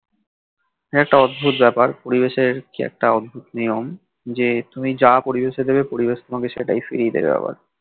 হ্যাঁ একটা অদ্ভুত ব্যাপার পরিবেশের কি একটা অদ্ভুত নিয়ম যে তুমি যা পরিবেশে দেবে পরিবেশ তোমাকে কে সেটাই ফিরে দেবে আবার